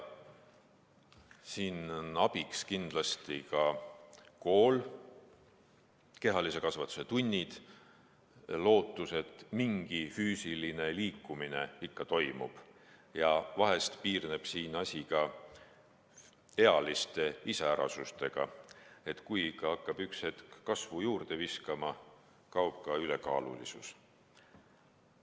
Siin on abiks kindlasti ka kool, kehalise kasvatuse tunnid, lootus, et mingi füüsiline liikumine ikka toimub ja vahest piirneb siin asi ka ealiste iseärasustega, et kui laps hakkab üks hetk kasvu juurde viskama, siis kaob ka ülekaalulisus.